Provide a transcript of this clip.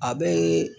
A bɛ